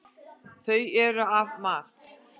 Þau eru af mat.